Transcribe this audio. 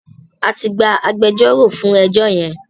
A ti gba agbẹjọ́rò fún ẹjọ́ yẹn.